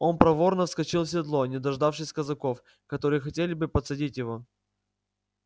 он проворно вскочил в седло не дождавшись казаков которые хотели было подсадить его